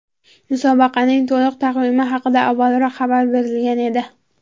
Musobaqaning to‘liq taqvimi haqida avvalroq xabar berilgan edi .